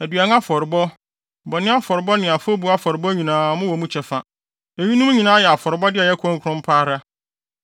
Aduan afɔrebɔ, bɔne afɔrebɔ ne afɔbu afɔrebɔ nyinaa mowɔ mu kyɛfa. Eyinom nyinaa yɛ afɔrebɔde a ɛyɛ kronkron pa ara.